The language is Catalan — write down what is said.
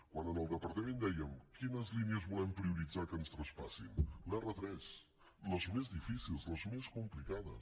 quan al departament dèiem quines línies volem prioritzar que ens traspassin l’r3 les més difícils les més complicades